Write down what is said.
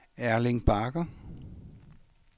Erling Bagger